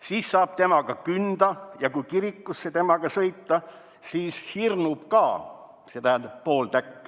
"Siis saab temaga künda ja kui kirikusse temaga sõita, siis hirnub ka.